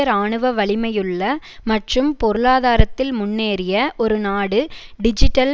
இராணுவ வலிமையுள்ள மற்றும் பொருளாதாரத்தில் முன்னேறிய ஒரு நாடு டிஜிட்டல்